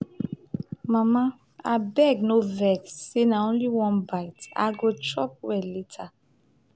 mama abeg no vex say i only take one bite. i go chop well later.